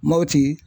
Mɔti